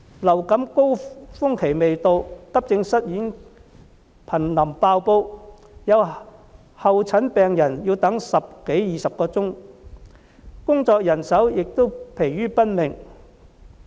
流感高峰期未到，急症室已瀕臨"爆煲"，有候診病人要等候十多二十小時，醫護人員也疲於奔命。